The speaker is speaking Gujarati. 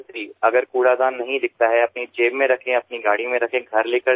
જો કચરા પેટી ન દેખાય તો પોતાના ખિસ્સામાં રાખો અથવા પોતાની ગાડીમાં રાખીને ઘરે લઈ જાવ